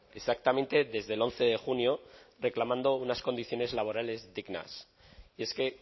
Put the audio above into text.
exactamente desde el once de junio reclamando unas condiciones laborales dignas y es que